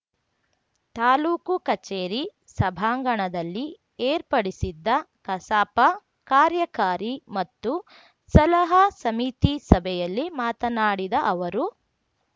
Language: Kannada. ತಾಲೂಕು ಕಚೇರಿ ಸಭಾಂಗಣದಲ್ಲಿ ಏರ್ಪಡಿಸಿದ್ದ ಕಸಾಪ ಕಾರ್ಯಕಾರಿ ಮತ್ತು ಸಲಹಾ ಸಮಿತಿಸಭೆಯಲ್ಲಿ ಮಾತನಾಡಿದ ಅವರು